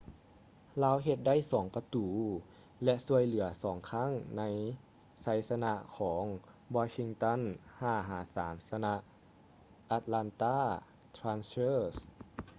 ລາວເຮັດໄດ້ 2 ປະຕູ ແລະ ຊ່ວຍເຫຼືອ 2 ຄັ້ງໃນໄຊຊະນະຂອງ washington 5-3 ຊະນະ atlanta thrashers